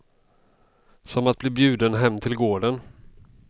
Som att bli bjuden hem till gården.